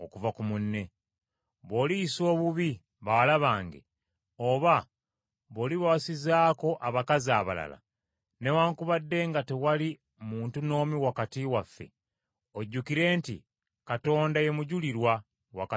Bw’oliyisa obubi bawala bange, oba bw’olibawasizaako abakazi abalala, newaakubadde nga tewali muntu n’omu wakati waffe, ojjukire nti Katonda ye mujulirwa wakati wo nange.”